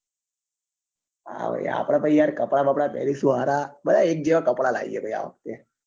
હા ભાઈ આપડે તો યાર કપડા બાપડા પેરી સારા બધા એક જેવા કપડા લાવીએ આં વખતે